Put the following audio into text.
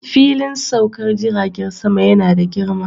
Filin saukar jiragen sama yana da girma